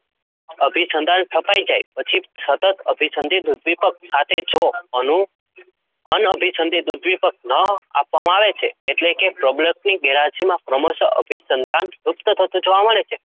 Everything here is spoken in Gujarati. અભિસંધાન સ્થપાઈ જાય પછી સતત અભિસંધિત ઉદ્દીપક સાથે જો અનુ અન અભિસંધિત ઉદ્દીપક ન આપવામાં આવે છે એટલે કે પ્રબલનની ગેરહાજરીમાં ક્રમશહ અભિસંધાન લુપ્ત થતું જોવા મળે છે